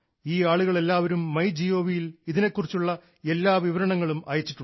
ഈ ആളുകൾ എല്ലാവരും മൈ ഗവ് ഇൽ ഇതിനെക്കുറിച്ചുള്ള എല്ലാ വിവരണങ്ങളും അയച്ചിട്ടുണ്ട്